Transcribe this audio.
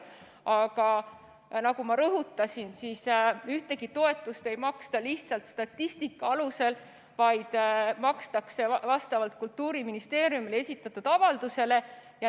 Aga nagu ma rõhutasin, ühtegi toetust ei maksta lihtsalt statistika alusel, vaid makstakse vastavalt Kultuuriministeeriumile esitatud avaldusele.